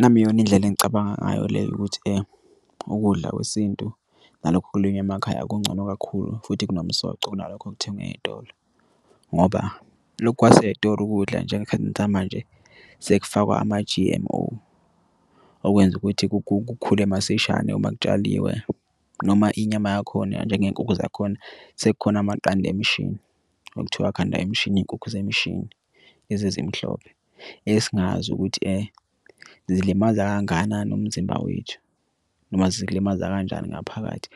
Nami iyona indlela engicabanga ngayo leyo ukuthi ukudla kwesintu nalokhu okulinywa emakhaya kungcono kakhulu futhi kunomsoco kunalokho okuthengwe eyitolo, ngoba lokhu kwasey'tolo ukudla njengekhathini samanje sekufakwe ama-G_M_O okwenza ukuthi kukhule masishane uma kutshaliwe. Noma inyama yakhona njengey'nkukhu zakhona sekukhona amaqanda emishini yokuthiwa akhanda imishini iy'nkukhu zemishini lezi ezimhlophe. Esingazi ukuthi zilimaza kangakanani umzimba wethu noma zilimaza kanjani ngaphakathi.